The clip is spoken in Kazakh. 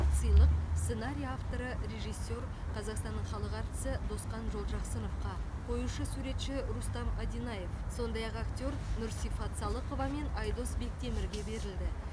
сыйлық сценарий авторы режиссер қазақстанның халық әртісі досқан жолжақсыновқа қоюшы суретші рустам одинаев сондай ақ актер нұрсифат салықова мен айдос бектемірге берілді